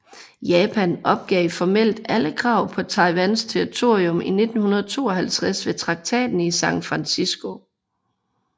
Japan opgav formelt alle krav på Taiwans territorium i 1952 ved Traktaten i San Francisco